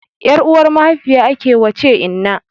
Ƴar uwar mahaifiya ake wace inna